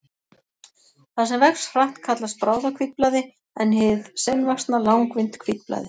Það sem vex hratt kallast bráðahvítblæði en hið seinvaxna langvinnt hvítblæði.